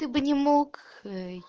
ты бы не мог